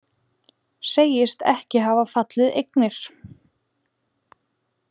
Segist ekki hafa falið eignir